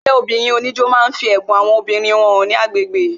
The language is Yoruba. Ẹgbẹ́ obìnrin oníjó máa ń fi ẹ̀bùn àwọn obìnrin wọn hàn ní agbègbè